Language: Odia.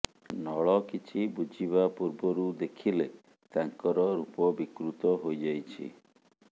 ନଳ କିଛି ବୁଝିବା ପୂର୍ବରୁ ଦେଖିଲେ ତାଙ୍କର ରୂପ ବିକୃତ ହୋଇଯାଇଛି